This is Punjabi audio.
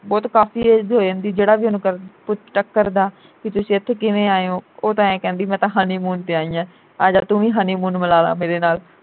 ਬਹੁਤ ਕਾਫੀ age ਹੋ ਜਾਂਦੀ ਜਿਹੜਾ ਵੀ ਉਹਨੂੰ ਕਰਦਾ ਪੁੱਛਦਾ ਕਰਦਾ ਬਈ ਤੁਸੀਂ ਇਥੇ ਕਿਵੇਂ ਆਏ ਓ ਉਹ ਤਾਂ ਏ ਹੀ ਕਹਿੰਦੀ ਮੈਂ ਤਾਂ honeymoon ਤੇ ਆਈ ਆ ਆਜਾ ਤੂੰ ਵੀ honeymoon ਮਨਾਲਾ ਮੇਰੇ ਨਾਲ